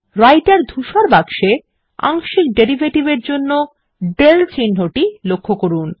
রাইটের ধূসর বাক্সে আংশিক ডেরিভেটিভ এর জন্য del চিন্হটি লক্ষ্য করুন